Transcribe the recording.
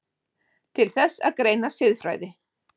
Til þess að greina siðfræði